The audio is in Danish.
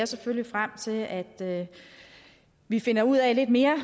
selvfølgelig frem til at at vi finder ud af lidt mere